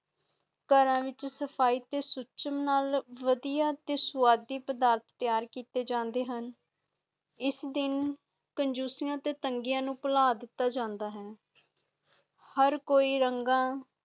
ਕਰ ਦੇ ਵਿਚ ਸਫਾਈ ਤੇ ਸੁੱਚ ਨਾਲ ਵਡੀਆਂ ਤੇ ਸਵਾਦ ਪਦਾਰਥ ਤਿਆਰ ਕਿੱਤੇ ਜਾਂਦੇ ਹੁਣ ਇਸ ਦਿਨ ਕੰਜੂਸੀ ਤੇ ਤੰਗੀਆਂ ਨੂੰ ਪੁਲਾਂ ਦਿੰਦਾ ਜਾਂਦਾ ਹੈ ਹਰ ਕੋਈ ਰੰਗਾ